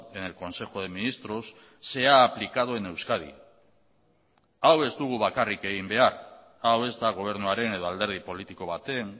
en el consejo de ministros se ha aplicado en euskadi hau ez dugu bakarrik egin behar hau ez da gobernuaren edo alderdi politiko baten